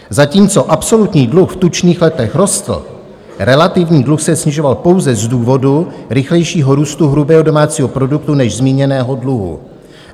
Zatímco absolutní dluh v tučných letech rostl, relativní dluh se snižoval pouze z důvodu rychlejšího růstu hrubého domácího produktu než zmíněného dluhu.